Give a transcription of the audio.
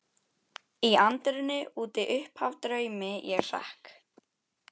Í anddyrinu úti uppaf draumi ég hrekk.